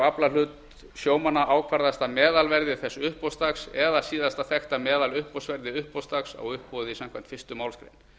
aflahlut sjómanna ákvarðast af meðalverði þess uppboðsdags eða síðasta þekkta meðaluppboðsverði uppboðsdags á uppboði samkvæmt fyrstu málsgrein